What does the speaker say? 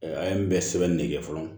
An ye bɛɛ sɛbɛnni ne kɛ fɔlɔ